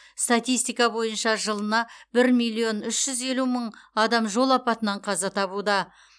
статистика бойынша жылына бір миллион үш жүз елу мың адам жол апатынан қаза табуда